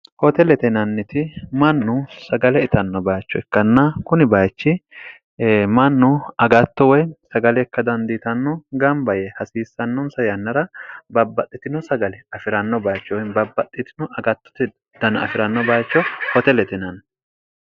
hoote letinanniti mannu sagale itanno baacho ikkanna kuni bayachi mannu agatto woy sagalekka dandiitanno gamba ye hasiissannonsa yannara babbaxxitino sagale afi'ranno baacho woy babbaxxitino agattoti dana afi'ranno bacho hoote letinanni